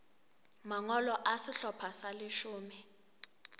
mangolo a sehlopha sa leshome